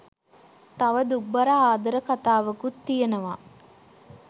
තව දුක්බර ආදර කතාවකුත් තියෙනවා